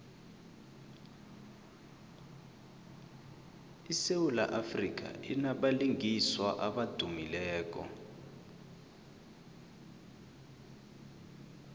isewula afrika inabalingiswa abadumileko